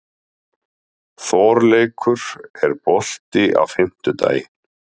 Þorleikur, er bolti á fimmtudaginn?